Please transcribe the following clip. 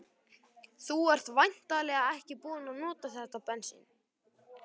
Þú ert væntanlega ekki búinn að nota þetta bensín?